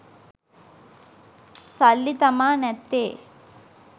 සල්ලි තමා නැත්තේ.